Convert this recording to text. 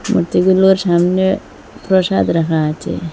মূর্তিগুলোর সামনে প্রসাদ রাখা আছে।